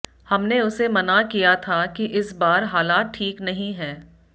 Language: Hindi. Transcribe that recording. हमने उसे मना किया था कि इस बार हालात ठीक नहीं है